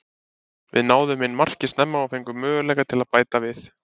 Við náðum inn marki snemma og fengum möguleika til að bæta við.